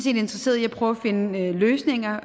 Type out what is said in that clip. interesseret i at prøve at finde løsninger